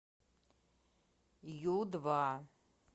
ю два